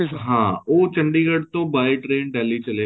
ਹਾਂ ਉਹ ਚੰਡੀਗੜ੍ਹ ਤੋਂ by train Delhi ਚੱਲੇ ਗਏ